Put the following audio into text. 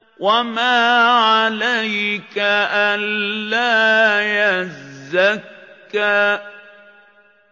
وَمَا عَلَيْكَ أَلَّا يَزَّكَّىٰ